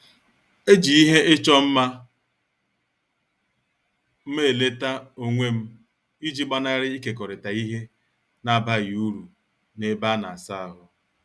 Eji ngwa ịchọ mma m eleta onwem iji gbanari ikekorita ihe n' abaghị uru na- ebe ana- asa ahụ.